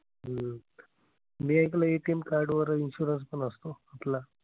हम्म मी ऐकलंय ATM card वर insurance पण असतो कुठला.